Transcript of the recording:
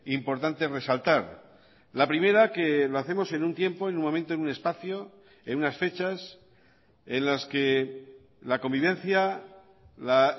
importante resaltar la primera que lo hacemos en un tiempo en un momento en un espacio en unas fechas en las que la convivencia la